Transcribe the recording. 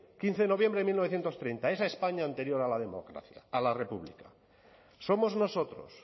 quince de noviembre de mil novecientos treinta esa españa anterior a la república somos nosotros